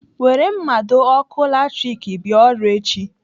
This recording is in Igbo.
Were mmado ọkụ latrik bịa ọrụ echi.